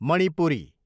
Manipuri